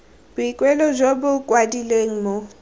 boikuelo jo bo kwadilweng bo